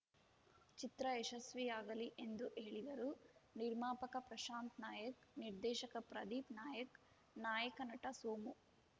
ಚಿತ್ರ ಯಶಸ್ವಿಯಾಗಲಿ ಎಂದು ಹೇಳಿದರು ನಿರ್ಮಾಪಕ ಪ್ರಶಾಂತ್‌ ನಾಯಕ್‌ ನಿರ್ದೇಶಕ ಪ್ರದೀಪ್‌ ನಾಯಕ್‌ ನಾಯಕ ನಟ ಸೋಮು